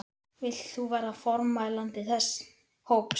Vilt þú verða formælandi þess hóps?